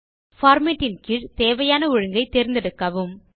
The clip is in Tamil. மற்றும் பார்மேட் இன் கீழ் தேவையான ஒழுங்கை தேர்ந்தெடுக்கவும்